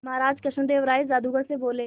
महाराज कृष्णदेव राय जादूगर से बोले